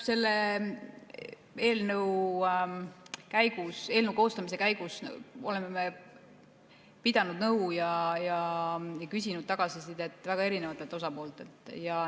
Selle eelnõu koostamise käigus oleme me pidanud nõu ja küsinud tagasisidet väga erinevatelt osapooltelt.